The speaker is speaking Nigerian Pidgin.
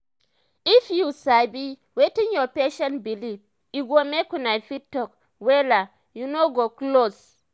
if u sabi wetin ur patient believe e go make una fit talk wella and una go close